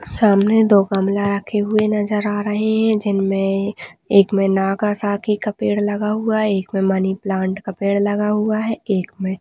सामने दो गमला रखे हुए नजर आ रहे हैं जिनमें एक महीना का सारी का पेड़ लगा हुआ एक में मनी प्लांट का पेड़ लगा हुआ है एक में--